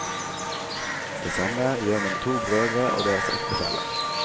Det samme gjør mine to brødre og deres ektefeller.